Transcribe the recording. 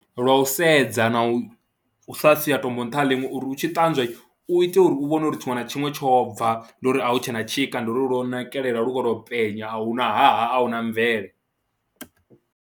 Lwa u sedza na u sa sia tombo nṱha ha ḽiṅwe uri u tshi ṱanzwa u ite uri u vhone uri tshiṅwe na tshiṅwe tsho bva, ndi uri a hu tshe na tshika, ndi uri lwo nakelela lu khou tou penya a hu na haha a hu na mvele.